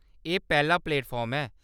एह्‌‌ पैह्‌‌ला प्लेटफार्म ऐ।